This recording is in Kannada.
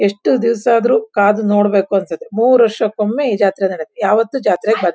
ಎಷ್ಟು ದಿವ್ಸಆದ್ರು ಕಾದು ನೋಡ್ಬೇಕು ಅನ್ಸತ್ತೆ ಮೂರೊಷಕ್ ಒಮ್ಮೆ ಈ ಜಾತ್ರೆ ನಡ್ಯತ್ತೆ ಯಾವತ್ತೂ ಜಾತ್ರೆಗ್ ಬ--